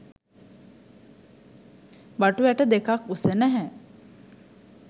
බටු ඇට දෙකක් උස නැහැ